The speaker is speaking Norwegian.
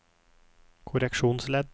korreksjonsledd